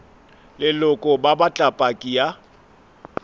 leloko ba batla paki ya